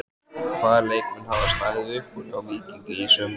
Hvaða leikmenn hafa staðið upp úr hjá Víkingi í sumar?